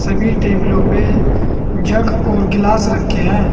सभी टेबलों पे जग और गिलास रखे हैं।